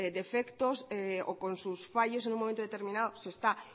defectos o con sus fallos en un momento determinado se está